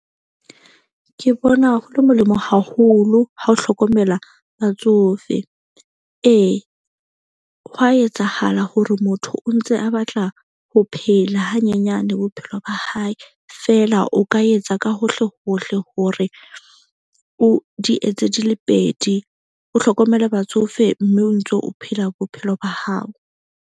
Ke bona hole molemo haholo ha o hlokomela batsofe. Ee, hwa etsahala hore motho o ntse a batla ho phela hanyenyane, bophelo ba hae, fela o ka etsa ka hohle hohle hore o di etse di le pedi. O hlokomele batsofe mme o ntso o phela bophelo ba hao.